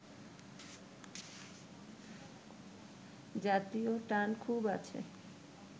জাতীয় টান খুব আছে